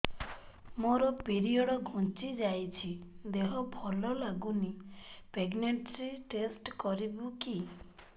ମୋ ପିରିଅଡ଼ ଘୁଞ୍ଚି ଯାଇଛି ଦେହ ଭଲ ଲାଗୁନି ପ୍ରେଗ୍ନନ୍ସି ଟେଷ୍ଟ କରିବୁ କି